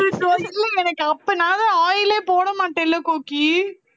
oil ஏ போடமாட்டேன்ல கோகி